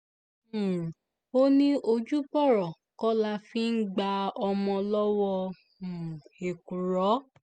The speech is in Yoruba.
um ó ní ojúbọ̀rọ̀ kọ́ la fi ń gba ọmọ lọ́wọ́ um èkùrọ́